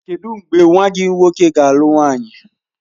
Kedụ mgbe nwa gị nwoke ga-alụ nwaanyị?